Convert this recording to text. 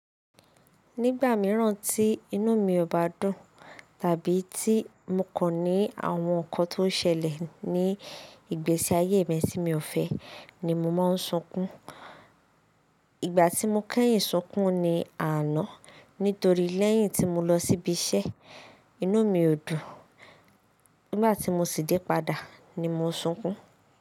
Nígbà mìíràn tí inú mi ò bá dùn, tàbí tí mo kọ̀ ní àwọn ǹkan tó ṣẹlẹ̀ ní ìgbésí ayé mi tí mi ò fẹ́ ni mo máa ń sunkún. Ìgbà tí mo kẹ́yìn sunkún ni àná nítorí lẹ́yìn tí mo lọ síbi iṣẹ́, inú mi ò dùn. Nígbà tí mo sì dé padà ni mo sunkún.